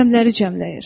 Rəqəmləri cəmləyir.